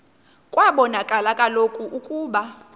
kwabonakala kaloku ukuba